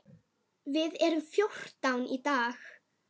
Við erum fjórtán í dag.